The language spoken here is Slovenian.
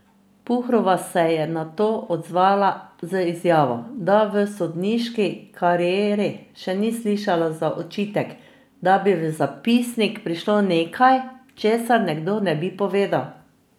Puhrova se je na to odzvala z izjavo, da v sodniški karieri še ni slišala za očitek, da bi v zapisnik prišlo nekaj, česar nekdo ne bi povedal.